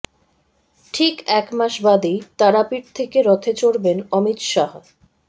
ঠিক একমাস বাদেই তারাপীঠ থেকে রথে চড়বেন অমিত শাহ